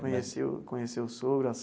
Conheceu conheceu o sogro, a.